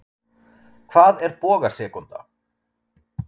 Hvað er bogasekúnda?